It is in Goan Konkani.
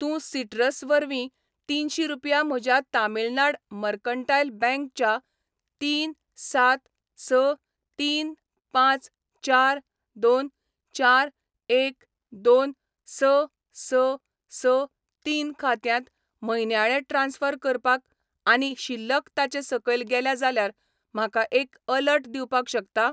तूं सिटरस् वरवीं तिनशी रुपया म्हज्या तमिळनाड मर्कंटायल बँक च्या तीन सात स तीन पांच चार दोन चार एक दोन स स स तीन खात्यांत म्हयन्याळें ट्रान्स्फर करपाक आनी शिल्लक ताचे सकयल गेल्या जाल्यार म्हाका एक अलर्ट दिवपाक शकता?